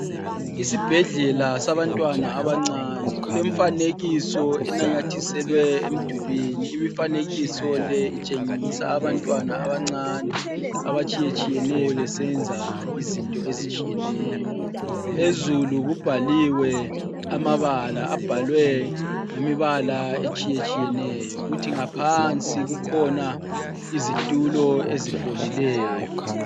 Isibhedlela sabantwana abancane kule mifanekiso enanyathiselwe emdulwini. Imifanekiso le itshengisa abantwana abancane abatshiyetshiyeneyo besenza izinto ezitshiyeneyo. Phezulu kubhaliwe amabala abhalwe ngemibala etshiyetshiyeneyo kuthi ngaphansi kukhona izitulo ezifolileyo.